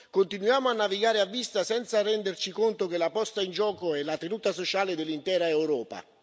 Continuiamo a navigare a vista, senza renderci conto che la posta in gioco è la tenuta sociale dell'intera Europa.